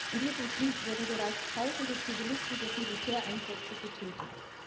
In diesem Krieg wurden bereits tausende Zivilisten durch Militäreinsätze getötet.